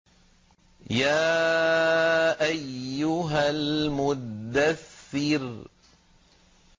يَا أَيُّهَا الْمُدَّثِّرُ